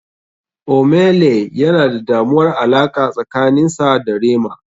Ohmay lay yana da damuwar alaqa tsakanin sa da rema.